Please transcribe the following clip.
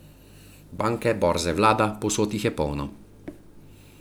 Banke, borze, vlada, povsod jih je polno.